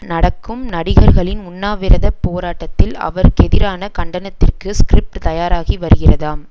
நடக்கும் நடிகர்களின் உண்ணாவிரத போராட்டத்தில் அவருக்கெதிரான கண்டனத்திற்கு ஸ்கிரிப்ட் தயாராகி வருகிறதாம்